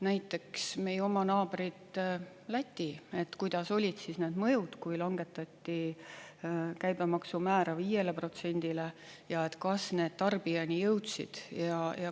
Näiteks meie oma naaber Läti, kuidas olid need mõjud, kui langetati käibemaksumäära 5%-le ja kas need tarbijani jõudsid.